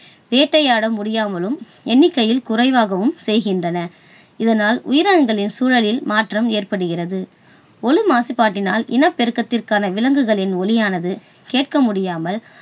வேட்டையாட முடியாமலும், எண்ணிக்கையில் குறைவாகவும் செய்கின்றன. இதனால் உயிரணுக்களின் சூழலில் மாற்றம் ஏற்படுகிறது. ஒலி மாசுபாட்டினால் இனப்பெருக்கத்திற்கான விலங்குகளின் ஒலியானது கேட்க முடியாமல்